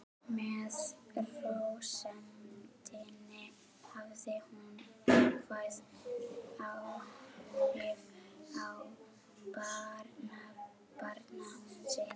Með rósemdinni hafði hún jákvæð áhrif á barnabarn sitt.